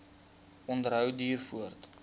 onderhou duur voort